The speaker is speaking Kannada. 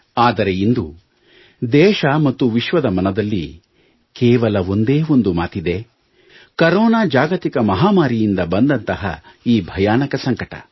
ಆದರೆ ಇಂದು ದೇಶ ಮತ್ತು ವಿಶ್ವದ ಮನದಲ್ಲಿ ಕೇವಲ ಒಂದೇ ಒಂದು ಮಾತಿದೆ ಕರೋನಾ ಜಾಗತಿಕ ಮಹಾಮಾರಿ ಯಿಂದ ಬಂದಂತಹ ಈ ಭಯಾನಕ ಸಂಕಟ